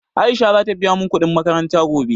Aisha za ta biya mun kuɗin makaranta gobe